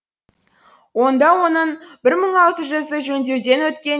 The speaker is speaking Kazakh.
онда да оның бір мың алты жүзі жөндеуден өткен